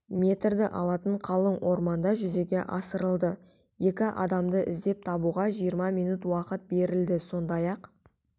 метрді алатын қалың орманда жүзеге асырылды екі адамды іздеп табуға жиырма минут уақыт берілді сондай-ақ